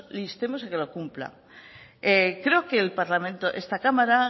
le instemos a que lo cumpla creo que el parlamento esta cámara